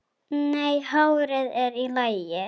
Nei, hárið er í lagi.